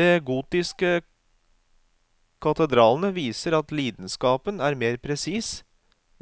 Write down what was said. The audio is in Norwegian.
De gotiske katedralene viser at lidenskapen er mer presis